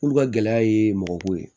Olu ka gɛlɛya ye mɔgɔ ko ye